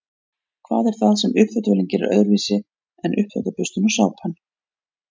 hvað er það sem uppþvottavélin gerir öðruvísi en uppþvottaburstinn og sápan